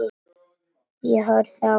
Ég horfi á mömmu.